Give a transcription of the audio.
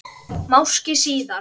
Máski síðar.